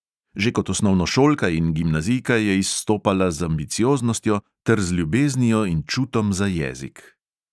Že kot osnovnošolka in gimnazijka je izstopala z ambicioznostjo ter z ljubeznijo in čutom za jezik.